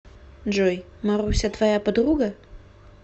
джой маруся твоя подруга